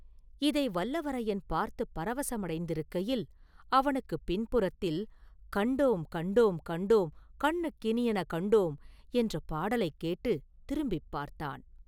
இதை வல்லவரையன் பார்த்துப் பரவசமடைந்திருக்கையில், அவனுக்குப் பின்புறத்தில், “கண்டோம், கண்டோம், கண்டோம், கண்ணுக்கினியன கண்டோம்” என்ற பாடலைக் கேட்டுத் திரும்பிப் பார்த்தான்.